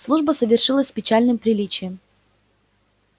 служба совершилась с печальным приличием